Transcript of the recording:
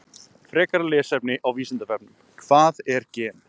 Frekara lesefni á Vísindavefnum: Hvað er gen?